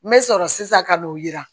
N bɛ sɔrɔ sisan ka n'o jira